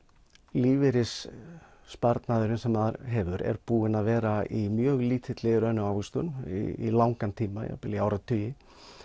lífeyrissparnaðurinn sem maður hefur er búinn að vera í mjög lítilli raunávöxtun í langan tíma jafnvel í áratugi